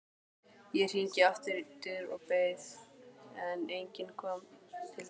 Ég hringdi aftur og beið, en enginn kom til dyra.